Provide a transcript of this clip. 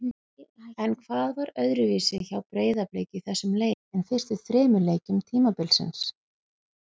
En hvað var öðruvísi hjá Breiðablik í þessum leik en fyrstu þremur leikjum tímabilsins?